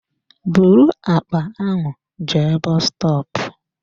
Bụrụ àkpà ahụ jee bọs stọọpu!